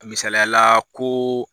Misaliya la koo